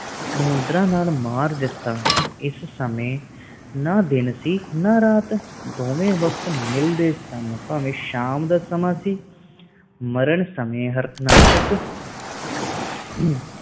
ਨਹੁੰਦਰਾਂ ਨਾਲ ਮਾਰ ਦਿਤਾ ਇਸ ਸਮੇ ਨਾ ਦਿਨ ਸੀ ਨਾ ਰਾਤ ਦੋਵੇ ਵਕਤ ਮਿਲਦੇ ਸਨ ਭਾਵੇ ਸ਼ਾਮ ਦਾ ਸੀ ਮਰਨ ਸਮੇ ਹਾਰਨਾਸ਼ਕ